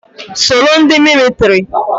Soro ndị militiri!